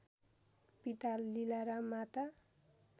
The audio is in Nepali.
पिता लीलाराम माता